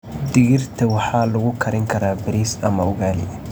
Digirta waxaa lagu karin karaa bariis ama ugali.